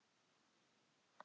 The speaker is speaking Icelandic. Þó aldrei að vita.